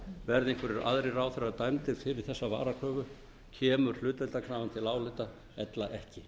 verði einhverjir aðrir ráðherrar dæmdir fyrir þessa varakröfu kemur hlutdeildarkrafan til álita ella ekki